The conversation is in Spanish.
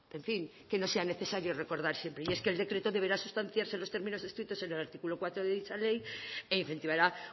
en fin que no sea necesario recordar siempre y es que el decreto deberá sustanciarse en los términos descritos en el artículo cuatro de dicha ley e incentivará